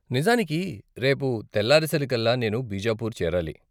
నిజానికి, రేపు తెల్లారేసరికల్లా నేను బీజాపూర్ చేరాలి.